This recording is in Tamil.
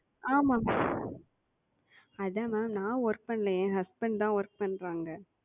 ஆமா அதான் Ma'am நான் Work பண்ணல. என் Husband தான் Work பண்றாங்க.